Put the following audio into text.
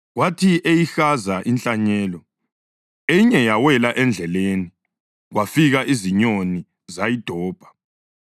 Kwathi eyihaza inhlanyelo, enye yawela endleleni, kwafika izinyoni zayidobha.